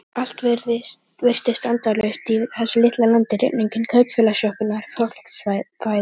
Allt virtist endalaust í þessu litla landi: rigningin, kaupfélagssjoppurnar, fólksfæðin.